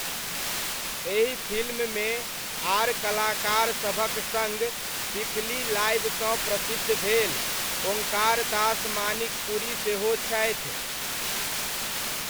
एहि फिल्ममे आर कलाकारसभक सङ्ग पीपली लाइवसँ प्रसिद्ध भेल ओङ्कार दास मानिकपुरी सेहो छथि।